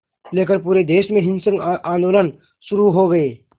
लेकर पूरे देश में हिंसक आंदोलन शुरू हो गए